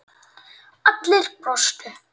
Allir brostu.